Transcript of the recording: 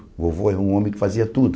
O vovô era um homem que fazia tudo.